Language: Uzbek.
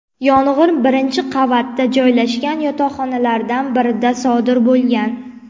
Yong‘in birinchi qavatda joylashgan yotoqxonalardan birida sodir bo‘lgan.